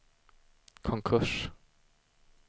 konkurs